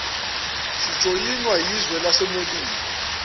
sijoyinwa yizwe lasemelika